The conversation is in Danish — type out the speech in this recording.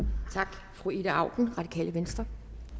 tak fru ida auken radikale venstre